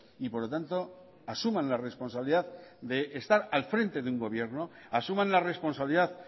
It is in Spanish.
y por lo tanto asuman la responsabilidad de estar al frente de un gobierno asuman la responsabilidad